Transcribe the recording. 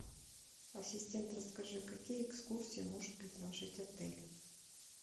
ассистент расскажи какие экскурсии может предложить отель